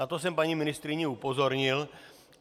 Na to jsem paní ministryni upozornil.